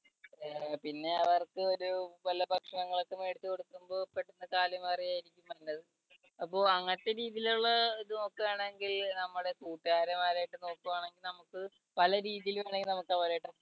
പിന്നെ പിന്നെ അവർക്ക് ഒരു വല്ല ഭക്ഷണങ്ങളൊക്കെ മേടിച്ചു കൊടുക്കുമ്പോൾ പെട്ടെന്ന് കാലുമാറി ആയിരിക്കും വരുന്നത് അപ്പോ അങ്ങനത്തെ രീതിയിലുള്ള ഇത് നോക്കുകയാണെങ്കിൽ നമ്മുടെ കൂട്ടുകാരന്മാരായിട്ട് നോക്കുകയാണെങ്കിൽ നമുക്ക് പല രീതിയിൽ വേണമെങ്കിൽ നമുക്ക് അവരുമായിട്ടൊക്കെ